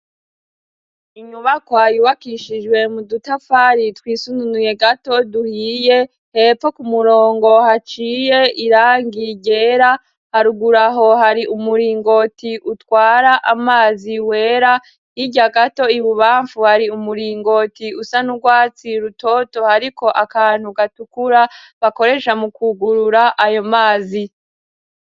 Inyubakwa yubakishijwe mu dutafari twisununuye gato duhiye, hepfo ku murongo haciye irangi ryera, haruguru aho hari umuringoti utwara amazi wera, hirya gato ibubamfu hari umuringoti usa n'urwatsi rutoto, hariko akantu gatukura bakoresha mu kwugurura ayo mazi.